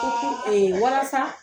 walasa